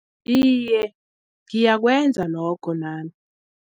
Iye, ngiyakwenza lokho nami.